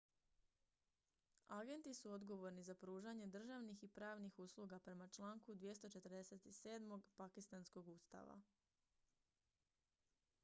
agenti su odgovorni za pružanje državnih i pravnih usluga prema članku 247. pakistanskog ustava